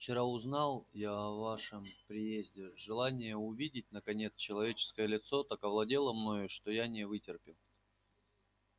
вчера узнал я о вашем приезде желание увидеть наконец человеческое лицо так овладело мною что я не вытерпел